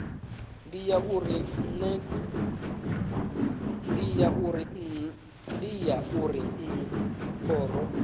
ndi ya uri naa khoro